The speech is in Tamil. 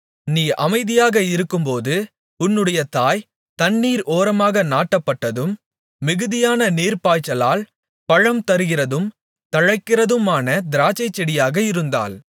நீ அமைதியாக இருக்கும்போது உன்னுடைய தாய் தண்ணீர் ஓரமாக நாட்டப்பட்டதும் மிகுதியான நீர்ப்பாய்ச்சலால் பழம்தருகிறதும் தழைத்திருக்கிறதுமான திராட்சைச்செடியாக இருந்தாள்